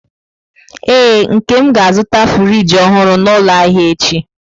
Ee, Nkem ga-azụta friji ọhụrụ n'ụlọ ahịa echi.